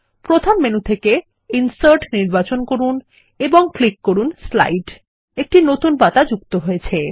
প্রধান মেনু থেকে ইনসার্ট নির্বাচন করুন এবং ক্লিক করুন স্লাইড একটি নতুন পাতা যুক্ত হয়েছে